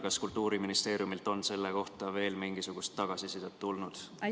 Kas Kultuuriministeeriumilt on selle kohta veel mingisugust tagasisidet tulnud?